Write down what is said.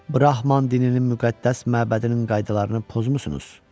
Brahman dininin müqəddəs məbədinin qaydalarını pozmusunuz.